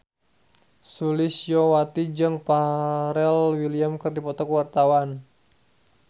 Sulistyowati jeung Pharrell Williams keur dipoto ku wartawan